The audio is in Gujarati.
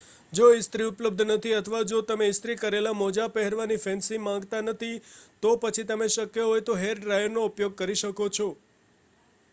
જો ઇસ્ત્રી ઉપલબ્ધ નથી અથવા જો તમે ઇસ્ત્રી કરેલ મોજાં પહેરવાની ફેન્સી માંગતા નથી તો પછી તમે શક્ય હોય તો હેરડ્રાયરનો ઉપયોગ કરી શકો છો